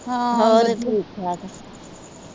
ਹੋਰ ਠੀਕ ਠਾਕ